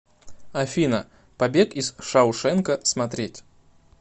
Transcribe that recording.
афина побег из шаушенка смотреть